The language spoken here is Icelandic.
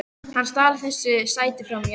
Hann stal þessu sæti frá mér!